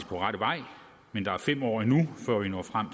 på rette vej men der er fem år endnu før vi når frem